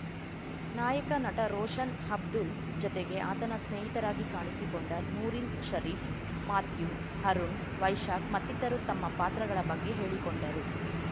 ನಾಯಕ ನಟ ರೋಷನ್‌ ಅಬ್ದುಲ್‌ ಜೊತೆಗೆ ಆತನ ಸ್ನೇಹಿತರಾಗಿ ಕಾಣಿಸಿಕೊಂಡ ನೂರಿನ್‌ ಷರೀಫ್ ಮಾಥ್ಯೂ ಅರುಣ್‌ ವೈಶಾಖ್‌ ಮತ್ತಿತರು ತಮ್ಮ ಪಾತ್ರಗಳ ಬಗ್ಗೆ ಹೇಳಿಕೊಂಡರು